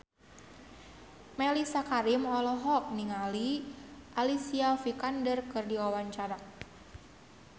Mellisa Karim olohok ningali Alicia Vikander keur diwawancara